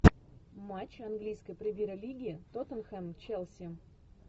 матч английской премьер лиги тоттенхэм челси